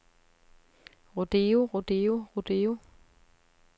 rodeo rodeo rodeo